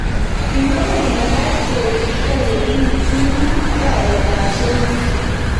kimwa kile mekat keribgei yekiityini arawetab somok